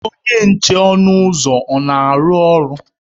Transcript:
Onye nche ọnụ ụzọ na-arụ ọrụ?